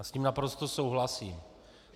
Já s tím naprosto souhlasím.